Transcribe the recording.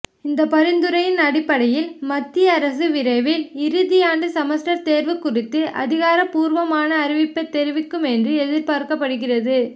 இந்த பரிந்துரையின் அடிப்படையில் மத்திய அரசு விரைவில் இறுதியாண்டு செமஸ்டர் தேர்வு குறித்து அதிகாரப்பூர்வமான அறிவிப்பை தெரிவிக்கும் என்று எதிர்பார்க்கப்படுகிறது